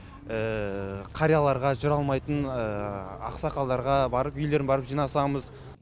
қарияларға жүре алмайтын ақсақалдарға барып үйлерін барып жинасамыз